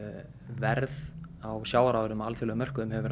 verð á sjávarafurðum á alþjóðamörkuðum hefur